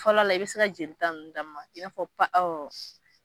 Fɔlɔ la i bɛ se ka jolita ninnu d'a ma i n'a fɔ pa ɔ